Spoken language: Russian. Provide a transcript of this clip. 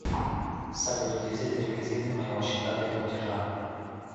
салют где взять реквизиты моего счета для платежа